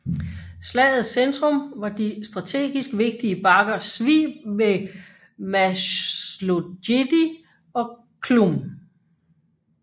Slagets centrum var de strategisk vigtige bakker Svib ved Máslojedy og Chlum